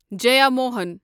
Jeyamohan